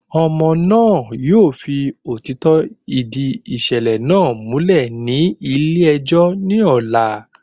Ọmọ náà yóò fi òtítọ́ ìdí ìṣẹ̀lẹ̀ náà múlẹ̀ ní ilé ẹjọ́ ní ọ̀la